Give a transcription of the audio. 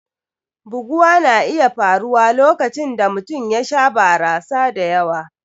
Buguwa na iya faruwa lokacin da mutum ya sha barasa da yawa.